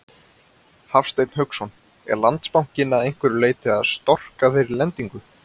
Hafsteinn Hauksson: Er Landsbankinn að einhverju leyti að storka þeirri lendingu?